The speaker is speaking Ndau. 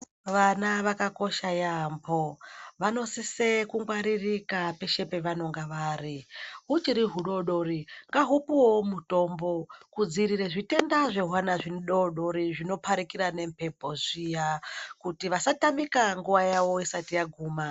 Vana vakakosha yaamho. Vanosise kungwaririka peshe pevanenge vari. Huchiri hudodori ngahupuwewo mutombo kudzivirira zvitenda zvehwana hudoodori zvinoparikira nemhepo zviya kuti vasatamike nguwa yavo isati yaguma.